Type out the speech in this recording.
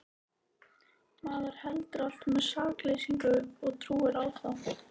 Maður heldur alltaf með sakleysinu og trúir á það.